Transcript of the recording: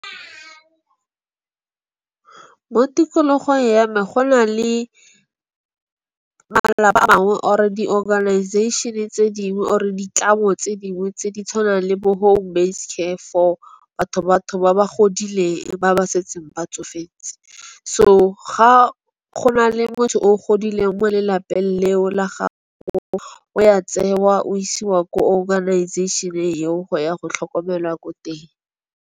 Mo tikologong ya me go na le malapa a mangwe or di-organization-e tse dingwe or ditlamo tse dingwe, tse di tshwanang le bo home based care for batho ba ba godile ba ba setseng ba tsofetse. So, ga go na le motho o godileng mo lelapeng leo la gago o ya tsewa o isiwa ko organization eo go ya go tlhokomelwa ko teng.